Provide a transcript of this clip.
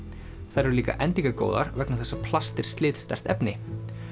þær eru líka endingargóðar vegna þess að plast er slitsterkt efni